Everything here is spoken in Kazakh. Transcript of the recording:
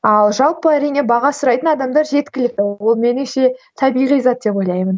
ал жалпы әрине баға сұрайтын адамдар жеткілікті ол меніңше табиғи зат деп ойлаймын